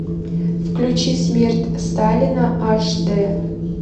включи смерть сталина аш д